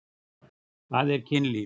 Hvað er kynlíf?